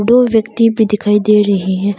दो व्यक्ति भी दिखाई दे रहे हैं।